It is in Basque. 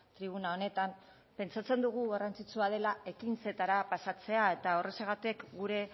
tribuna honetan pentsatzen dugu garrantzitsua dela ekintzetara pasatzea eta horrexegatik gure